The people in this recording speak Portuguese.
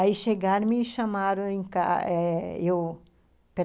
Aí chegaram e me chamaram em ca eh eu pe